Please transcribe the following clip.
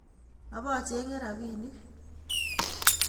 Obochenge rapinik